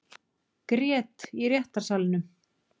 Grét í réttarsalnum